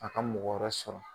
A ka mɔgɔ wɛrɛ sɔrɔ.